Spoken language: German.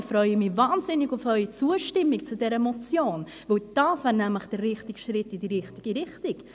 Ich freue mich wahnsinnig auf Ihre Zustimmung zu dieser Motion, denn dies wäre nämlich der richtige Schritt in die richtige Richtung.